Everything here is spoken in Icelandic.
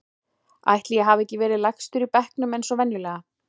Ætli ég hafi ekki verið lægstur í bekknum eins og venjulega.